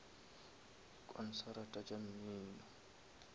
konsarata tša mmino